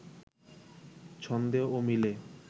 ছন্দে ও মিলে